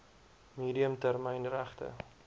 medium termyn regte